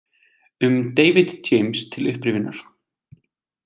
Um David James til upprifjunar: